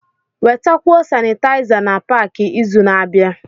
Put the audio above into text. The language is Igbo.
Wetakwuo Sanitaiza na Pááki izu na-abịa